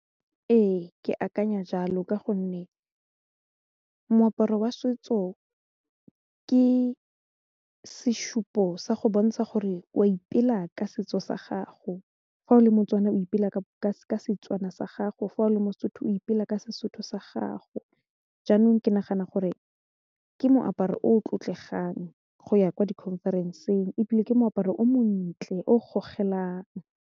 Ee, ke akanya jalo ka gonne moaparo wa setso ke sesupo sa go bontsha gore o a ipela ka setso sa gago fa o le motswana o ipela Setswana sa gago fa o le mosotho o ipela ka Sesotho sa gago jaanong ke nagana gore ke moaparo o tlotlegang go ya ko di conference-ng ebile ke moaparo o montle o gogelang.